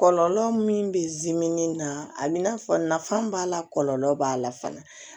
Kɔlɔlɔ min bɛ zimɛni na a bi n'a fɔ nafa b'a la kɔlɔlɔ b'a la fana